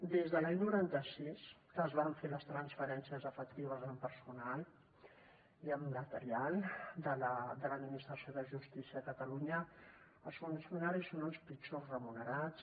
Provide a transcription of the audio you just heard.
des de l’any noranta sis que es van fer les transferències efectives en personal i en material de l’administració de justícia a catalunya els funcionaris són els pitjors remunerats